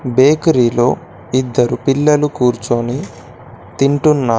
బేకరీలో ఇద్దరు పిల్లలు కూర్చొని తింటున్నారు.